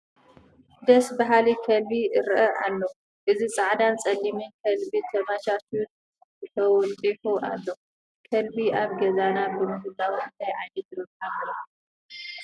ደስ በሃሊ ከልቢ እርአ ኣሎ፡፡ እዚ ፃዕዳን ፀሊምን ከልቢ ተመቻችዩ ተወጢሑ ኣሎ፡፡ ከልቢ ኣብ ገዛና ብምህላዉ እንታይ ዓይነት ረብሓ ንረክብ?